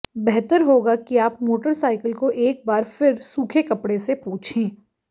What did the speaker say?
बेहतर होगा कि आप मोटरसाइकिल को एक बार फिर सूखे कपड़े से पोछें